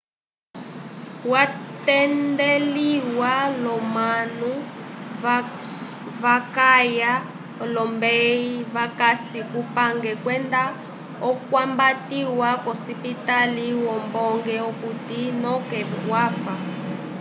watendeliwa l'omanu vakaya olombeyi vakasi kupange kwenda okwambatiwa k'osipitali yombonge okuti noke wafa